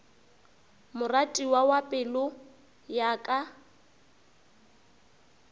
moratiwa wa pelo ya ka